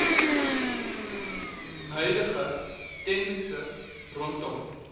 huidige tendense rondom